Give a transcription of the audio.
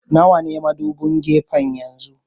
Nawa ne madubin gefen yanzu?